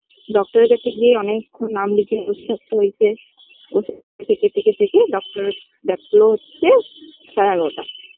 Doctor -এর কাছে গিয়ে অনেকক্ষণ নাম লিখিয়ে বসে থাকতে হয়েছে বসে থেকে থেকে থেকে Doctor দেখলো হচ্ছে সাড়ে এগারোটা